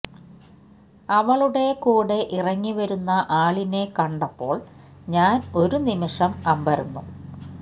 അവളുടെ കൂടെ ഇറങ്ങി വരുന്ന ആളിനെ കണ്ടപ്പോള് ഞാന് ഒരു നിമിഷം അമ്പരന്നു